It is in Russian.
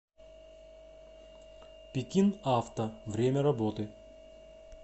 пекин авто время работы